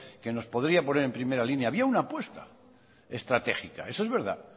que nos podría poner en primera línea había una apuesta estratégica eso es verdad